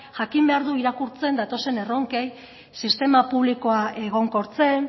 jakin behar du irakurtzen datozen erronkei sistema publikoa egonkortzen